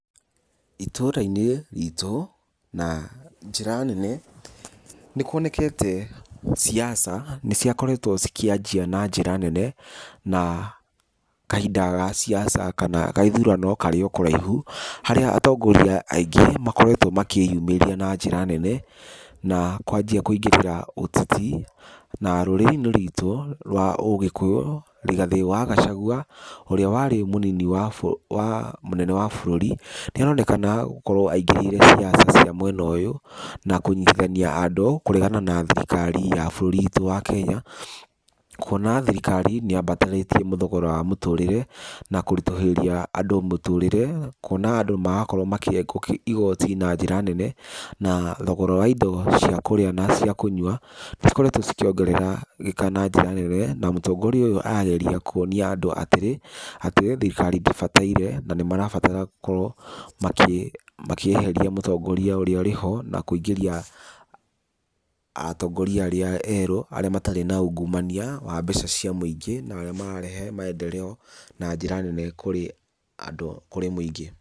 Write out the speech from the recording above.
Itũra-inĩ ritũ, na njĩra nene, nĩ kuonekete ciaca nĩ ciakoretwo cikĩanjia na njĩra nene na kahinda ga ciaca kana ga ithurano karĩ o kũraihu, harĩa atongoria aingĩ makoretwo makĩyumĩria na njĩra nene, na kwanjia kũingĩrĩrĩra ũteti. Na rũrĩrĩ-inĩ rwitũ rwa Ũgĩkũyũ Rigathĩ wa Gachagua, ũrĩa warĩ mũnini wa mũnene wa bũrũri, nĩaronekana gũkorwo aingĩrĩire ciaca cia mwena ũyũ, na kũnyitithania andũ kũregana na thirikari ya bũrũri witũ wa Kenya, kuona thirikari nĩyambatarĩtie thogora wa mũtũrĩre na kũritũhĩria andũ mũtũrĩre kuona andũ marakorwo makĩrengwo igoti na njĩra nene, na thogora wa indo cia kũrĩa na cia kũnyua nĩcikoretwo cikĩongerera eka na njĩra nene, na mũtongoria arageria kuonia andũ atĩrĩ, atĩ e thirikari ndĩbataire, na nĩ marabatara gũkorwo makĩeheria mũtongoria ũrĩa ũrĩ ho na kũingĩria atongoria arĩa erũ arĩa matarĩ na ungumania wa mbeca cia mũingĩ na arĩa mararehe maendeleo na njĩra nene kũrĩ andũ, kũrĩ mũingĩ.